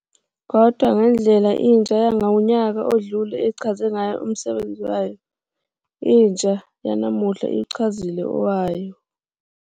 Kodwa ngendlela intsha yangonyaka odlule echaze ngayo umsebenzi wayo, intsha yanamuhla iwuchazile owayo.